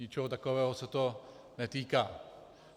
Ničeho takového se to netýká.